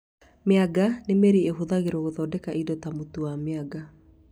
Mĩanga nĩ mĩri ĩhũthagĩrwo gũthondeka indo ta mũtu wa mĩanga